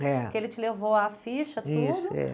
É. Que ele te levou a ficha, tudo.